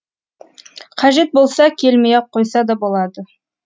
қажет болса келмей ақ қойса да болады